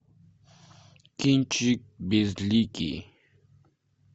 кинчик безликий